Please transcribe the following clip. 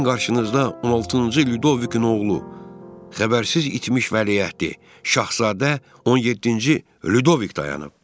Sizin qarşınızda 16-cı Lüdovikin oğlu, xəbərsiz itmiş Vəliəhd, Şahzadə 17-ci Lüdovik dayanıb.